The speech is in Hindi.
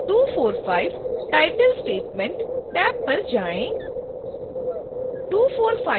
फिर 245 title statement: टैब पर जाएँ